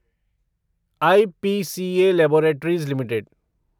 IPCA laboratories limited